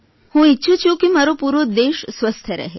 હું ઇચ્છું છું કે મારો પૂરો દેશ સ્વસ્થ રહે